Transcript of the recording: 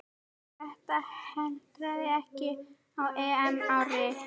Þetta hentaði ekki á EM-ári.